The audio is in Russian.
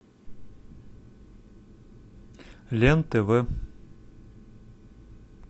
лен тв